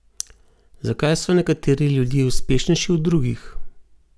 Zakaj so nekateri ljudje uspešnejši od drugih?